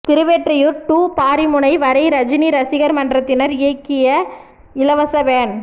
Thiruvottiyur to Parimunai வரை ரஜினி ரசிகர் மன்றத்தினர் இயக்கிய இலவச வேன்